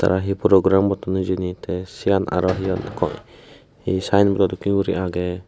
aro he program gotton hijeni tey siyen aro he hon ko he sayenbodo dokkey guri agey.